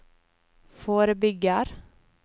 forebygger